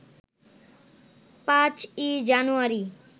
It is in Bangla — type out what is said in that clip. ৫ই জানুয়ারি